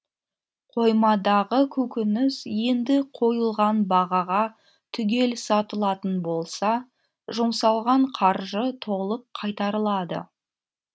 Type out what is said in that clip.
қоймадағы көкөніс енді қойылған бағаға түгел сатылатын болса жұмсалған қаржы толық қайтарылады